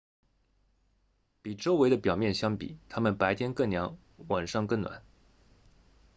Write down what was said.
比周围的表面相比它们白天更凉晚上更暖